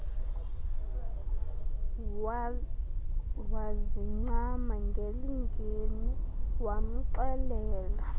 wazincama ngelingeni wamxelela